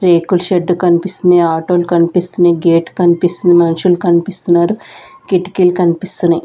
రేకుల షెడ్డు కనిపిస్తున్నాయి ఆటో లు కనిపిస్తున్నాయి గేట్ కనిపిస్తుంది మనుషులు కనిపిస్తున్నారు కిటికీలు కనిపిస్తున్నాయి.